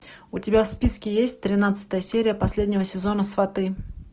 у тебя в списке есть тринадцатая серия последнего сезона сваты